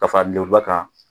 Ka fara ba kan